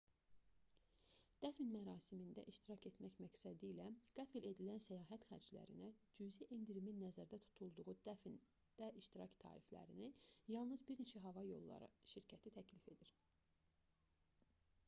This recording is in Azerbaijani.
dəfn mərasimində iştirak etmək məqsədilə qəfil edilən səyahət xərclərinə cüzi endirimin nəzərdə tutulduğu dəfndə iştirak tariflərini yalnız bir neçə hava yolları şirkəti təklif edir